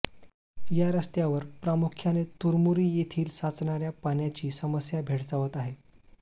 या रस्त्यावर प्रामुख्याने तुरमुरी येथील साचणार्या पाण्याची समस्या भेडसावत आहे